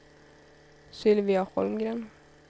Sylvia Holmgren